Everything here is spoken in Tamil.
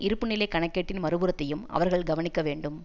இருப்பு நிலை கணக்கேட்டின் மறுபுறத்தையும் அவர்கள் கவனிக்கவேண்டும்